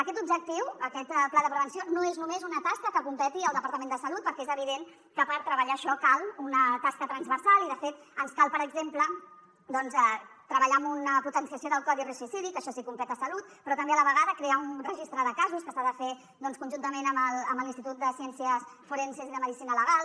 aquest objectiu aquest pla de prevenció no és només una tasca que competeixi al departament de salut perquè és evident que per treballar això cal una tasca transversal i de fet ens cal per exemple doncs treballar amb una potenciació del codi risc suïcidi que això sí competeix a salut però també a la vegada crear un registre de casos que s’ha de fer conjuntament amb l’institut de ciències forenses i de medicina legal